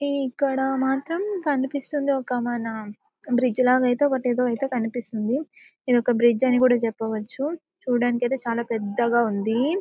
ఈ ఇక్కడ మాత్రం కనిపిస్తుంది ఒక మన బ్రిడ్జ్ లాగా అయితే ఒకటి ఏదో కనిపిస్తుంది. ఇది ఒక బ్రిడ్జ్ అని కూడా చెప్పవచ్చు చూడ్డానికి అయితే చాలా పెద్దగా ఉంది .